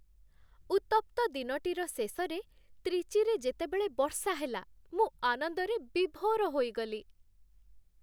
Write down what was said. ଉତ୍ତପ୍ତ ଦିନଟିର ଶେଷରେ, ତ୍ରିଚିରେ, ଯେତେବେଳେ ବର୍ଷା ହେଲା ମୁଁ ଆନନ୍ଦରେ ବିଭୋର ହୋଇଗଲି।